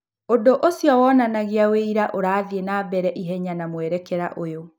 ũndũ ũcio wonanagia ũira ũrathiĩ na mbere ihenya na mwerekera ũyũ.